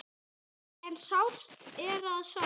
En sárt er það samt.